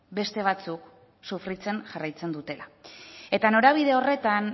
beste batzuk sufritzen jarraitzen dutela eta norabide horretan